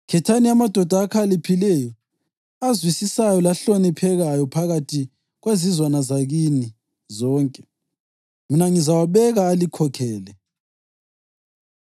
Khethani amadoda akhaliphileyo, azwisisayo lahloniphekayo phakathi kwezizwana zakini zonke, mina ngizawabeka alikhokhele.’